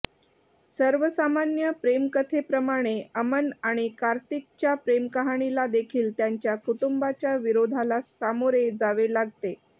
सर्वसामान्य प्रेमकथेप्रमाणे अमन आणि कार्तिकच्या प्रेमकहाणीला देखील त्यांच्या कुटुंबाच्या विरोधाला सामोरे जावे लागते